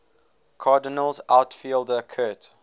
cardinals outfielder curt